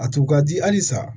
A tun ka di halisa